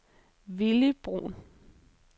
Villy Bruhn